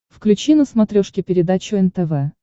включи на смотрешке передачу нтв